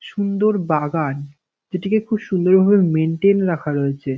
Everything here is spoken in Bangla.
সুন্দর বাগান যেটিকে খুব সুন্দরভাবে মেইনটেইন রাখা রয়েছে ।